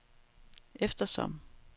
eftersom